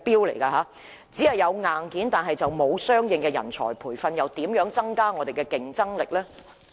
徒有硬件但沒有相應的人才培訓，試問怎能提高我們的競爭力呢？